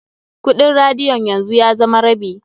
Kuɗin radiyon yanzu ya zama rabi.